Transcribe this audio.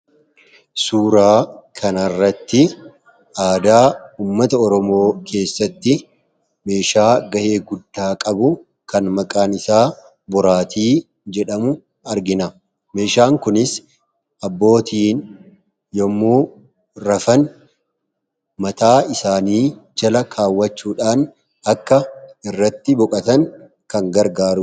suuraa kana irratti aadaa ummata oromoo keessatti meeshaa ga'ee guddaa qabu kan maqaan isaa boraatii jedhamu argina. meeshaan kunis abbootiin yommuu rafan mataa isaanii jala kaawwachuudhaan akka irratti boqatan kan gargaaruudha.